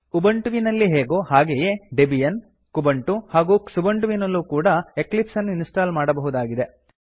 ಉಬಂಟುವಿನಲ್ಲಿ ಹೇಗೋ ಹಾಗೇ Debian Kubuntu ಹಾಗೂ ಕ್ಸುಬಂಟು ವಿನಲ್ಲೂ ಕೂಡಾ ಎಕ್ಲಿಪ್ಸ್ ಅನ್ನು ಇನ್ಸ್ಟಾಲ್ ಮಾಡಬಹುದಾಗಿದೆ